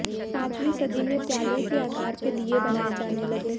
पांचवीं सदी में प्याले के आकार के दीये बनाए जाने लगे